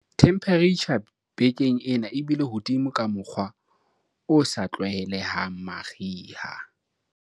themeperetjha bekeng ena e bile hodimo ka mokgwa o sa tlwaelehang mariha